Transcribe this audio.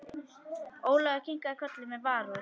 Ólafur kinkaði kolli með varúð.